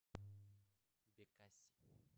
бекаси